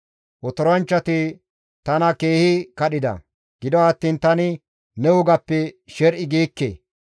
Otoranchchati tana keehi kadhida; gido attiin tani ne wogappe sher7i giikke.